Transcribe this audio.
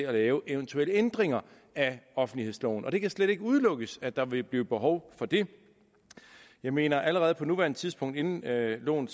at lave eventuelle ændringer af offentlighedsloven og det kan slet ikke udelukkes at der vil blive behov for det jeg mener at det allerede på nuværende tidspunkt inden loven